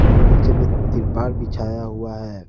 और नीचे में तिरपाल बिछाया हुआ है।